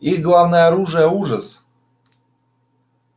их главное оружие ужас